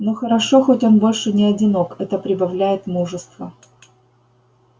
но хорошо хоть он больше не одинок это прибавляет мужества